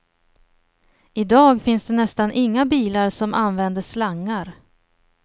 I dag finns det nästan inga bilar som använder slangar.